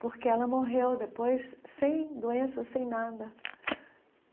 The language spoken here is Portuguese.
porque ela morreu depois sem doença, sem nada.